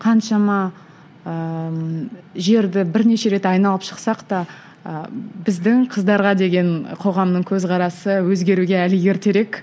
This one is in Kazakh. қаншама ыыы жерді бірнеше рет айналып шықсақ та ы біздің қыздарға деген қоғамның көзқарасы өзгеруге әлі ертерек